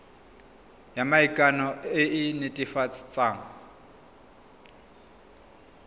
ya maikano e e netefatsang